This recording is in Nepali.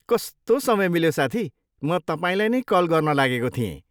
कस्तो समय मिल्यो साथी, म तपाईँलाई नै कल गर्न लागेको थिएँ।